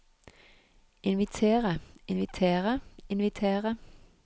invitere invitere invitere